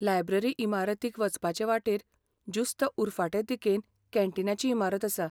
Library इमारतीक वचपाचे वाटेर जुस्त उरफाटें दिकेन कॅन्टीनाची इमारत आसा.